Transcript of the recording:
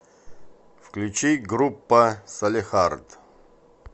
включи группа салехард